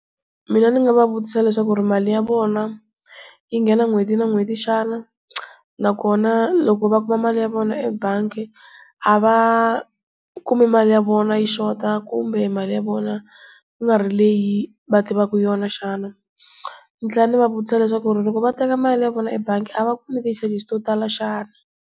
Mina ni nga va vutisa leswaku mali ya vona yi nghena n'hweti na n'hweti xana, na kona loko va kuma mali ya vona ebangi a va kumi mali ya ya vona yi xota kumbe mali ya vona ku nga ri leyi va tivaka yona xana? Ni tlhela ni va vutisa leswaku loko va teka mali ya vona ebangi a va kumi ti-charges-i to tala xana?